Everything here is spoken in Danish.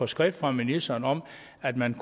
skrift fra ministeren om at man